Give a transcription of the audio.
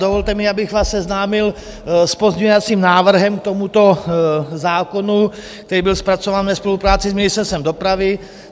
Dovolte mi, abych vás seznámil s pozměňovacím návrhem k tomuto zákonu, který byl zpracován ve spolupráci s Ministerstvem dopravy.